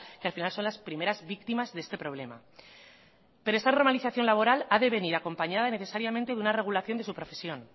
que al final son las primeras víctimas de este problema pero esa normalización laboral ha de venir acompañada y necesariamente de una regulación de su profesión